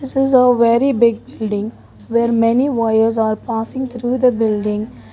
it is a very big building where many wires are passing through the building.